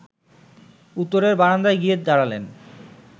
উত্তরের বারান্দায় গিয়ে দাঁড়ালেন